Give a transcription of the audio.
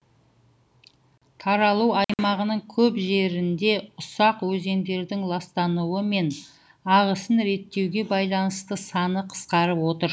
таралу аймағының көп жерінде ұсақ өзендердің ластануы мен ағысын реттеуге байланысты саны қысқарып отыр